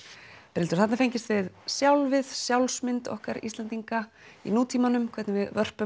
Brynhildur þarna er fengist við sjálfið sjálfsmynd okkar Íslendinga í nútímanum hvernig við vörpum